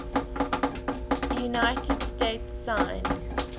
united states signed